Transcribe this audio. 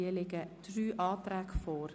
Es liegen drei Anträge vor.